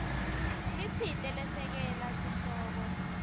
letsite lesekela sihloko